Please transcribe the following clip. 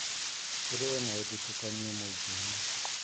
Tũrũe na ũthutũkanio mũingĩinĩ